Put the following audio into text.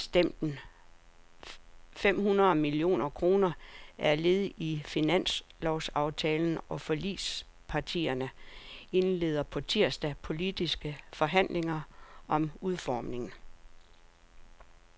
Afgiftslempelsen på fem hundrede millioner kroner er led i finanslovsaftalen, og forligspartierne indleder på tirsdag politiske forhandlinger om udformningen.